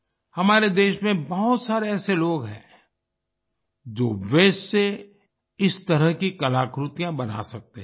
हमारे देश में बहुत सारे ऐसे लोग हैं जो वास्ते से इस तरह की कलाकृतियां बना सकते हैं